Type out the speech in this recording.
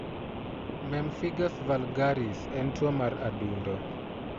Pemphigus vulgaris en tuwo mar adundo.